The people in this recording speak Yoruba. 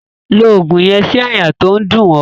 Lo ògùn yen sí àyà to n dún o